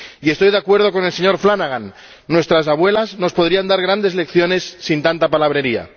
Y estoy de acuerdo con el señor Flanagan nuestras abuelas nos podrían dar grandes lecciones sin tanta palabrería.